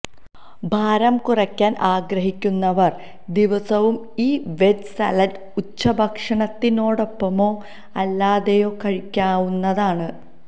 ഭാരം കുറയ്ക്കാന് ആഗ്രഹിക്കുന്നവര് ദിവസവും ഈ വെജ് സാലഡ് ഉച്ചഭക്ഷണത്തിനോടൊപ്പമോ അല്ലാതെയോ കഴിക്കാവുന്നതാണ്